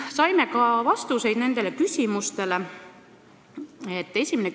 Saime nendele küsimustele ka vastused.